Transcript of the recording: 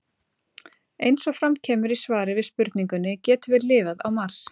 Eins og fram kemur í svari við spurningunni Getum við lifað á Mars?